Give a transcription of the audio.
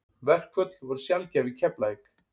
Verkföll voru sjaldgæf í Keflavík.